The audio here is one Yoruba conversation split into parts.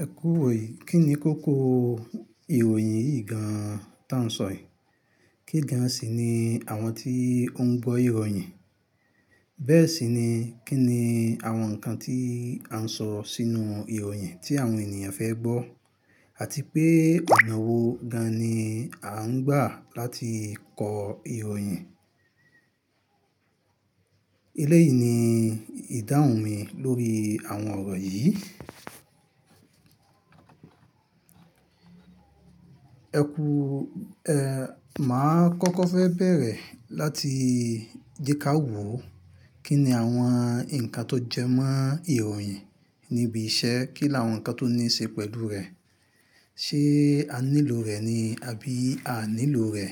Ẹ kú wòyi, kí ni kókó ìròyìn yìí gan tá n sọ yìí? Kí gan sì ni àwọn tí ó ń gbọ́ ìròyìn? Bẹ́ẹ̀ sì ni, kí ni àwọn nǹkan tí a ń sọ sínú ìròyìn tí àwọn ènìyàn fẹ́ gbọ́? Àti pé ọ̀nà wo gan ni a ń gbà láti kọ ìròyìn? Ilé yìí ni ìdáhùn mi lórí àwọn ọ̀rọ̀ yìí. Ẹ kú, ẹ, mà á kọ́kọ́ fẹ́ bẹ̀rẹ̀ láti jẹ ká wò kí ni àwọn nǹkan tó jẹ mọ́ ìròyìn níbi iṣẹ́ kí láwọn nǹkan tó ní í ṣe pẹ̀lú rẹ̀. Ṣé a nílò rẹ̀ ni àbí a nílò rẹ̀?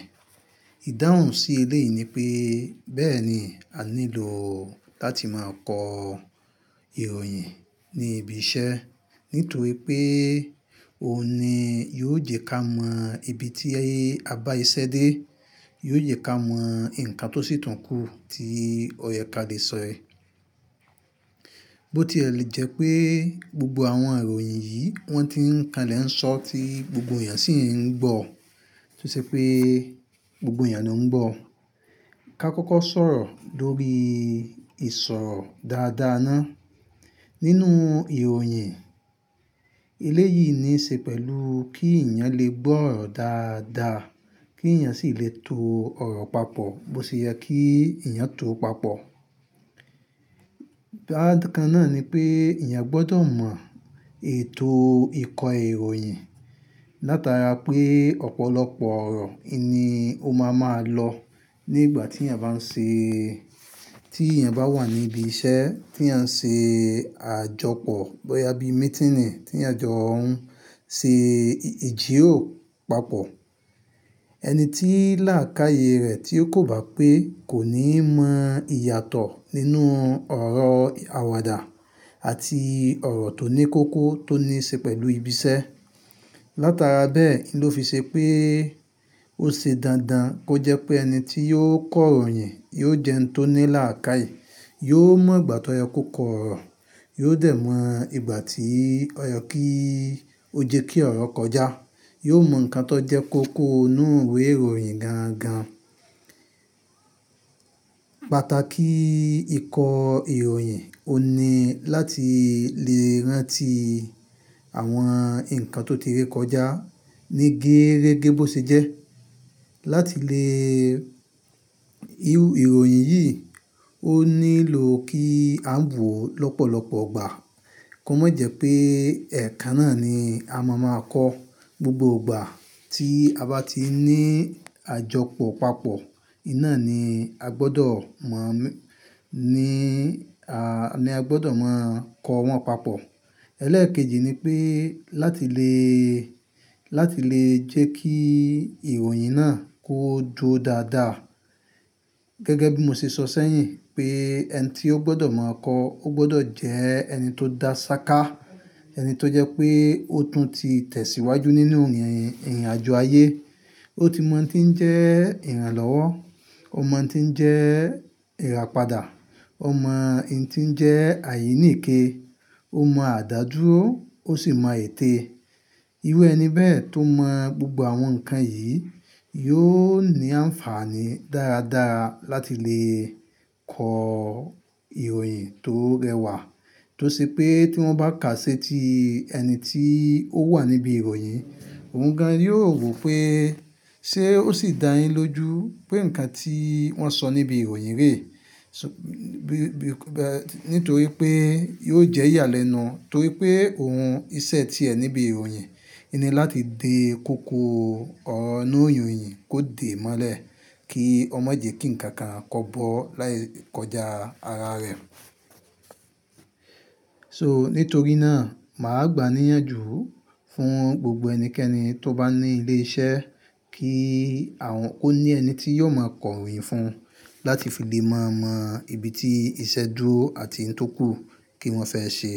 Ìdáhùn sí ilé yìí ni pé, bẹ́ẹ̀ ni, a nílò láti máa kọ ìròyìn ní ibi iṣẹ́. Nítorí pé òun ni yóò jẹ ká mọ ibi tí a bá iṣẹ́ dé. Yóò jẹ ká mọ nǹkan tó sì tànkú tí ọ̀yẹ́kadì sọ rẹ̀. Bó ti è lé jẹ pé gbogbo àwọn ìròyìn yìí wọ́n ti ń ka lẹ̀ ń sọ tí gbogbo èèyàn sì ń gbọ̀. Tó ṣe pé gbogbo èèyàn ló ń gbọ̀. Ka kọ́kọ́ sọ̀rọ̀ lórí ìsọ̀ dáadáa náà nínú ìròyìn. Elé yìí ní í ṣe pẹ̀lú kí èèyàn lè gbọ́ ọ̀rọ̀ dáadáa, kí èèyàn sì lè to ọ̀rọ̀ papọ̀ bó ṣe yẹ kí èèyàn tó papọ̀. Ẹ̀rọ̀ kan náà ni pé èèyàn gbọdọ̀ mọ ètò ìkọ ìròyìn. Látara pé ọ̀pọ̀lọpọ̀ ọ̀rọ̀ ìní òun máa ma lọ nígbà tí èèyàn bá ń ṣe, tí èèyàn bá wà níbi iṣẹ́ tí à ń ṣe àjọpọ̀ bóyá bí meeting tí à jọ ń ṣe ìjíròrò papọ̀. Ẹni tí làákàyè rẹ̀ tí ó kò bá pé kò ní mọ ìyàtọ̀ nínú ọ̀rọ̀ àwàdà àti ọ̀rọ̀ tó ní kókó tó ní í ṣe pẹ̀lú ibi iṣẹ́. Látara bẹ́ẹ̀ ló fi ṣe pé ó ṣe dandan kó jẹ pé ẹni tí yóò kọ ìròyìn yóò jẹ́ ẹni tó ní làákàyè. Yóò mọ ìgbà tó yẹ kó kọ ọ̀rọ̀, yóò dẹ̀ mọ ìgbà tí ọ̀yẹ́ kí ó jẹ́ kí ọ̀rọ̀ kọjá. Yóò mọ nǹkan tó jẹ́ kókó inú ìwé ìròyìn gan gan. Pàtàkì ìkọ ìròyìn òun ni láti lè rántí àwọn nǹkan tó ti re kọjá ní gééregé bó ṣe jẹ́. Látilè ìròyìn yìí, ó nílò kí a gbọ̀ lọ́pọ̀lọpọ̀ ọgbà. Kò má jẹ́ pé ẹ̀kan náà ni a máa máa kọ gbogbo ọgbà tí a bá ti ní àjọpọ̀ papọ̀. Iná ni a gbọdọ̀ mọ̀ ní a, ni a gbọdọ̀ máa kọ wọ́n papọ̀. Ẹlẹ́ẹ̀kejì ni pé láti lè, láti lè jẹ́ kí ìròyìn náà kó duró dáadáa. Gẹ́gẹ́ bí mo ṣe sọ sẹ́yìn pé ẹni tí ó gbọdọ̀ mọ̀ ọ́n kọ ó gbọdọ̀ jẹ́ ẹni tó dá ṣáká. Ẹni tó jẹ́ pé ó tún ti tẹ̀síwájú nínú ìrìnàjò ayé. Ó ti mọ ń tí ń jẹ́ ìrànlọ́wọ́. Ó mọ ń tí ń jẹ́ ìràpadà. Ó mọ ìní tí ń jẹ́ àyíníìké. Ó mọ àdádúró, ó sì mọ ète e. Iru ẹni bẹ́ẹ̀ tó mọ gbogbo àwọn nǹkan yìí yóò ní àǹfààní dáradára láti lè kọ ìròyìn tó rẹwà. Tó ṣe pé tí wọ́n bá kàá sẹ́ ti ẹni tí ó wà níbí ìròyìn, òun gan yóò rò pé ṣé ó sì dáyín lójú pé nǹkan tí wọ́n sọ níbí ìròyìn rè. Nítorí pé yóò jẹ́ ìyàlẹ́nu torí pé òun iṣẹ́ tí ẹ níbí ìròyìn, ẹni láti de kókó ọ̀nà ìròyìn kó de mọ́lẹ̀ kí ọmọ jẹ́ kí ǹkan kan kọ́bọ̀ láì kọjá ara rẹ̀. So nítorí náà, mà á gba níyànjú fún gbogbo ẹnikẹ́ni tó bá ní ilé iṣẹ́ kí àwọn ó ní ẹni tí yóò máa kọ ìròyìn fún láti fi lè máa mọ ibi tí iṣẹ́ dúró àti n tó kú kí wọ́n fẹ́ ṣe.